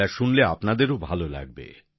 এটা শুনলে আপনাদেরও ভালো লাগবে